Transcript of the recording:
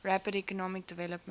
rapid economic development